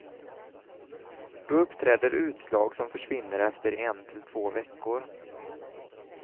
Då uppträder utslag, som försvinner efter en till två veckor.